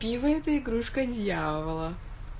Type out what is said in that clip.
пиво это игрушка дьявола